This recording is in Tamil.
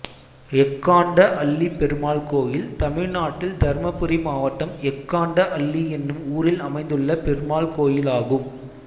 எக்காண்ட அள்ளி பெருமாள் கோயில் தமிழ்நாட்டில் தர்மபுரி மாவட்டம் எக்காண்ட அள்ளி என்னும் ஊரில் அமைந்துள்ள பெருமாள் கோயிலாகும்